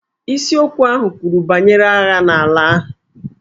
Isiokwu ahụ kwuru banyere agha n'ala ahụ.